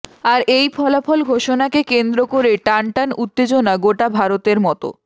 আর এই ফলাফল ঘোষণাকে কেন্দ্র করে টান টান উত্তেজনা গোটা ভারতের মতো